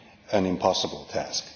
an impossible task.